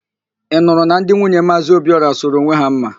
Ị nụrụ na ndị nwunye Maazị Obiora sụrụ onwe ha mma?